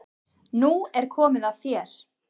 Nú er komið að þér.